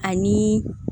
Ani